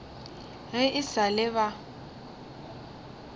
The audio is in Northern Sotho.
ge e sa le ba